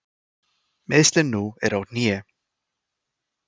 Meiðslin nú eru á hné.